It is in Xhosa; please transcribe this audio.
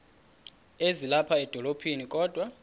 ezilapha edolophini kodwa